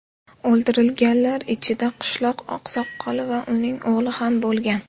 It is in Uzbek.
O‘ldirilganlar ichida qishloq oqsoqoli va uning o‘g‘li ham bo‘lgan.